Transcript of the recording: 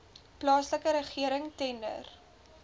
plaaslike regering tender